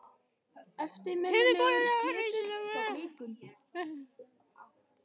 Höfuðbólið var heldur reisulegra en hjáleigan.